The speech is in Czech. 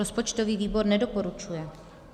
Rozpočtový výbor nedoporučuje.